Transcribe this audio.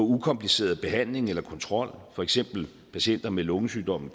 ukompliceret behandling eller kontrol for eksempel patienter med lungesygdommen